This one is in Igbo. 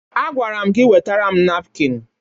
Agwara m gị wetara m napkịn!